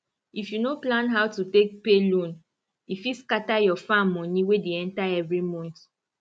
if you no plan how take pay loan e fit scatter your farm money wey dey enter every month